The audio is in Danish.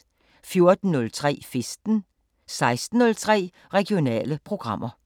14:03: Festen 16:03: Regionale programmer